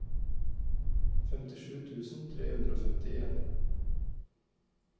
femtisju tusen tre hundre og femtien